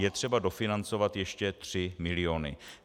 Je třeba dofinancovat ještě 3 miliony.